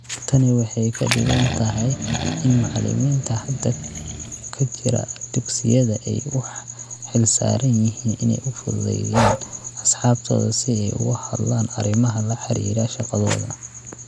Tani waxay ka dhigan tahay in macallimiinta hadda ka jira dugsiyada ay u xilsaaran yihiin inay u fududeeyaan asxaabtooda si ay uga hadlaan arrimaha la xiriira shaqadooda.